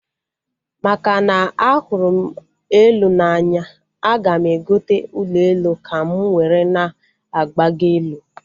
Makana ahụrụ m elu n'anya, aga m egota ụlọ elu ka m were na-agbago elu